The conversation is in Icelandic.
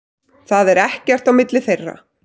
Það er ekkert á milli þeirra.